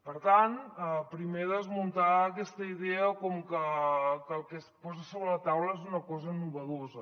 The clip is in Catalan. per tant primer desmuntar aquesta idea com que el que es posa sobre la taula és una cosa nova